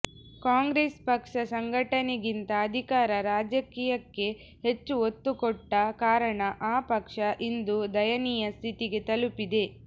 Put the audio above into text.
ಕಾಂಗ್ರೆಸ್ ಪಕ್ಷ ಸಂಘಟನೆಗಿಂತ ಅಧಿಕಾರ ರಾಜಕೀಯಕ್ಕೆ ಹೆಚ್ಚು ಒತ್ತು ಕೊಟ್ಟ ಕಾರಣ ಆ ಪಕ್ಷ ಇಂದು ದಯನೀಯ ಸ್ಥಿತಿಗೆ ತಲುಪಿದೆ